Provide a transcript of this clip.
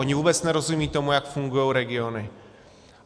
Oni vůbec nerozumí tomu, jak fungují regiony.